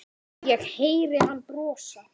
Ég heyri hann brosa.